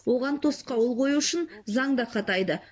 оған тосқауыл қою үшін заң да қатайды